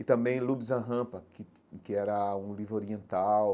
E também Lube Zanrampa, que que era um livro oriental,